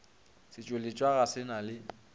setšweletša ga se na le